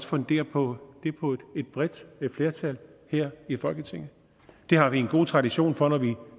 fundere det på et bredt flertal her i folketinget det har vi en god tradition for når vi